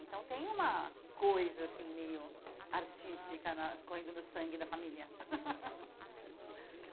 Então tem uma coisa assim meio artística na correndo no sangue da família.